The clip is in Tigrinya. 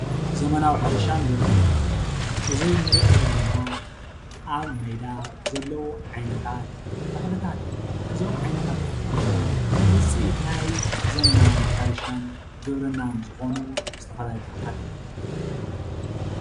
ዘመናዊ ሕርሻን ግብርናን እዙይ ንሪኦ ዘለና አብ ሜዳ ዘልው ዓይነታት ተኽልታት እዩ። እዞም ዓይነታት ተኽልታትት እዚኦም ውፅኢት ናይ ዘመናዊን ሕርሻን ግብርናን ዝኾኑ ዝተፈላለዩ ተኽልታት እዮም ።